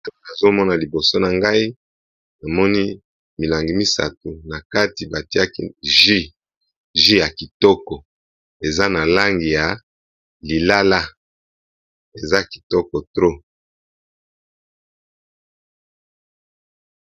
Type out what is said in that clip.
Nazomona liboso na ngai namoni milangi misato na kati batiaki jus, jus ya kitoko eza na langi ya lilala eza kitoko trop.